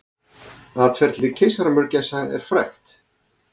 Atferli keisaramörgæsar er frægt.